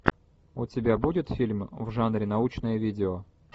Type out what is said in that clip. у тебя будет фильм в жанре научное видео